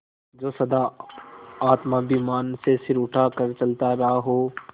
जो सदा आत्माभिमान से सिर उठा कर चलता रहा हो